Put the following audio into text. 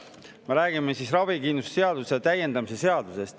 Me räägime ravikindlustuse seaduse täiendamise seadusest.